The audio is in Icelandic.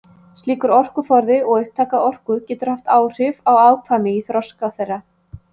Slíkur orkuforði og upptaka orku getur haft áhrif á afkvæmi í þroska þeirra.